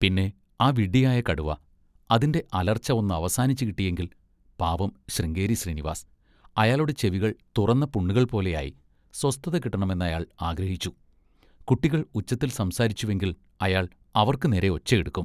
പിന്നെ ആ വിഡ്ഢിയായ കടുവ! അതിൻ്റെ അലർച്ച ഒന്നവസാനിച്ചുകിട്ടിയെങ്കിൽ! പാവം ശൃംഗേരി ശ്രീനിവാസ്! അയാളുടെ ചെവികൾ തുറന്ന പുണ്ണുകൾപോലെയായി. സ്വസ്ഥത കിട്ടണമെന്നയാൾ ആഗ്രഹിച്ചു. കുട്ടികൾ ഉച്ചത്തിൽ സംസാരിച്ചുവെങ്കിൽ അയാൾ അവർക്കുനേരെ ഒച്ചയെടുക്കും.